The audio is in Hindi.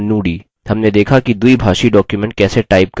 हमने देखा कि द्विभाषी document कैसे type करें